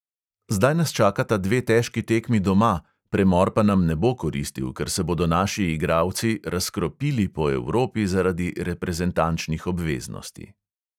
Zdaj nas čakata dve težki tekmi doma, premor pa nam ne bo koristil, ker se bodo naši igralci "razkropili" po evropi zaradi reprezentančnih obveznosti.